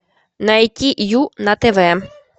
найти ю на тв